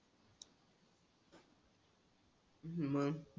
मंग